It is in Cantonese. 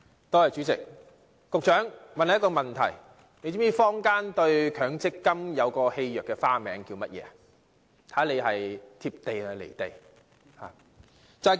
代理主席，我想問局長，他是否知道坊間對強制性公積金的戲謔別名是甚麼？